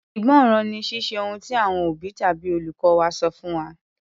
Ìgbọ́ràn ni Ṣíṣe ohun tí àwọn òbí tàbí olùkọ́ wa sọ fún wa.